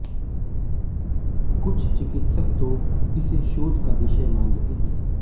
कुछ चिकित्सक तो इसे शोध का विषय मान रहे हैं